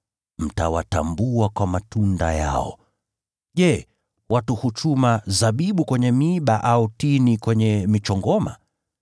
Mtawatambua kwa matunda yao. Je, watu huchuma zabibu kwenye miiba, au tini kwenye michongoma?